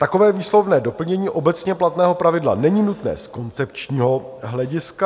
Takové výslovné doplnění obecně platného pravidla není nutné z koncepčního hlediska.